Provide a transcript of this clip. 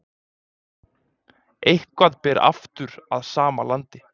Eitthvað ber aftur að sama landi